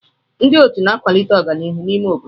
Ndị otu na-akwalite ọganihu n'ime obodo.